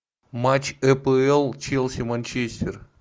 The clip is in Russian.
матч апл челси манчестер